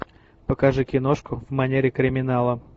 покажи киношку в манере криминала